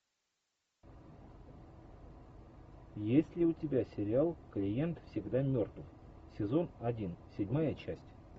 есть ли у тебя сериал клиент всегда мертв сезон один седьмая часть